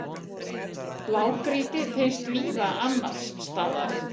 blágrýti finnst víða annars staðar